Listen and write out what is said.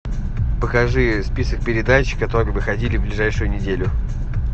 покажи список передач которые выходили в ближайшую неделю